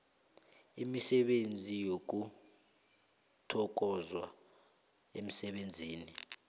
imisebenzi yokuthokozwa emsebenzini